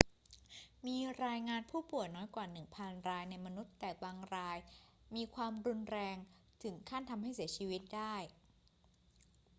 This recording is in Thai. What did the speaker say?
มีรายงานผู้ป่วยน้อยกว่าหนึ่งพันรายในมนุษย์ แต่บางรายมีความรุนแรงถึงขั้นทำให้เสียชีวิตได้